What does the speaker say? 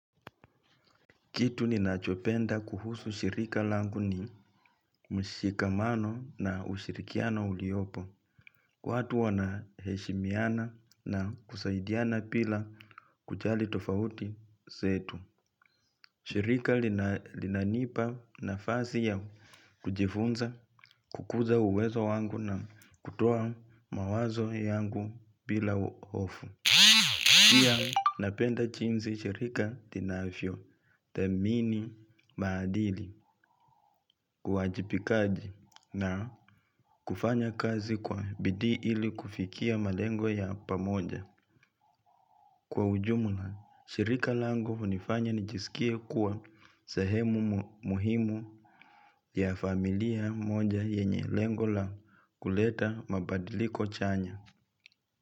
Kitu ninachopenda kuhusu shirika langu ni mshikamano na ushirikiano uliopo. Watu wanaheshimiana na kusaidiana pila kujali tofauti zetu. Shirika linanipa nafasi ya kujifunza, kukuza uwezo wangu na kutoa mawazo yangu pila uofu. Pia napenda chinzi shirika linafyothamini maadili uwajipikaji na kufanya kazi kwa bidii ili kufikia malengo ya pamoja. Kwa ujumla, shirika langu hunifanya nijisikie kuwa sahemu muhimu ya familia moja yenye lengo la kuleta mabadiliko chanya.